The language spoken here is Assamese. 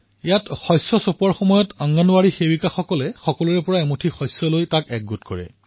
ইয়াত শস্য চপোৱাৰ দিনা অংগনৱাড়ী সেৱিকাই এমুঠি শস্য সংগ্ৰহ কৰে